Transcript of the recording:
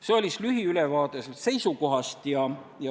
See oli lühiülevaade komisjoni seisukohast.